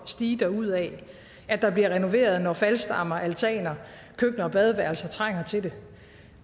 stige derudad at der bliver renoveret når faldstammer altaner køkkener og badeværelser trænger til det